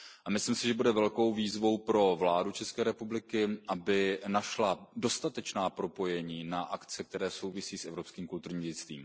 Myslím si, že bude velkou výzvou pro vládu České republiky, aby našla dostatečná propojení na akce, které souvisí s evropským kulturním dědictvím.